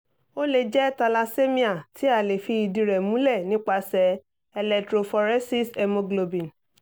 ó lè jẹ́ thalassemia tí a lè fi ìdí rẹ̀ múlẹ̀ nípasẹ̀ electrophoresishemogblobin